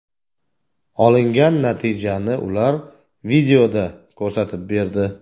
Olingan natijani ular videoda ko‘rsatib berdi.